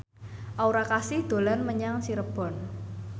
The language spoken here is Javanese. Aura Kasih dolan menyang Cirebon